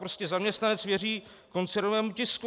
Prostě zaměstnanec věří koncernovému tisku.